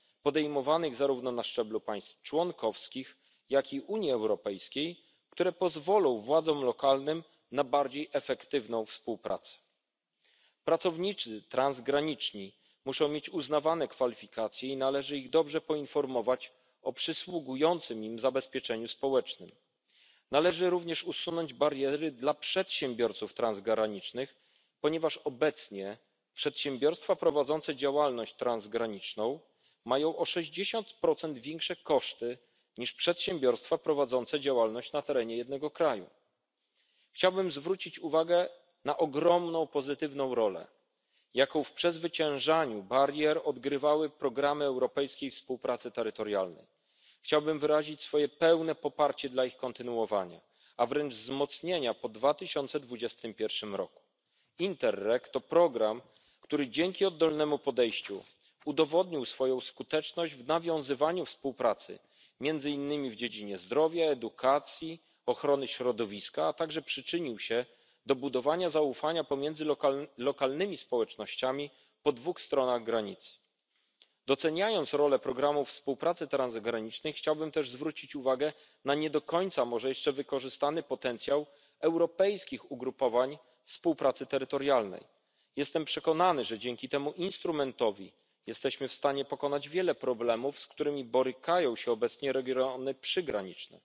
działań podejmowanych zarówno na szczeblu państw członkowskich, jak i Unii Europejskiej, które pozwolą władzom lokalnym na bardziej efektywną współpracę. Pracownicy transgraniczni muszą mieć uznawane kwalifikacje, należy ich dobrze poinformować o przysługującym im zabezpieczeniu społecznym. Należy również usunąć bariery dla przedsiębiorców transgranicznych, ponieważ obecnie przedsiębiorstwa prowadzące działalność transgraniczną mają o sześćdziesiąt procent większe koszty niż przedsiębiorstwa prowadzące działalność na terenie jednego kraju. Chciałbym zwrócić uwagę na ogromną pozytywną rolę, jaką w przezwyciężaniu barier odgrywały programy Europejskiej Współpracy Terytorialnej. Chciałbym wyrazić swoje pełne poparcie dla ich kontynuowania, a wręcz wzmocnienia po 2021r. Interreg to program, który dzięki oddolnemu podejściu udowodnił swoją skuteczność w nawiązywaniu współpracy m. in. w dziedzinie zdrowia, edukacji, ochrony środowiska, a także przyczynił się do budowania zaufania pomiędzy lokalnymi społecznościami po dwóch stronach granicy. Doceniając rolę Programu Współpracy Transgranicznej, chciałbym też zwrócić uwagę na nie do końca może jeszcze wykorzystany potencjał europejskich ugrupowań współpracy terytorialnej. Jestem przekonany, że dzięki temu instrumentowi jesteśmy w stanie pokonać wiele problemów, z którymi borykają się obecnie regiony